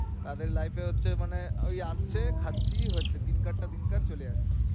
তারপর life এ হচ্ছে মানে এই আসছে খাচ্ছি হচ্ছে দিনকার টা দিনকার চলে যাচ্ছে।